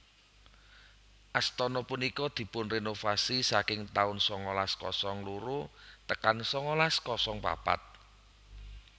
Astana punika dipunrenovasi saking taun sangalas kosong loro tekan sangalas kosong papat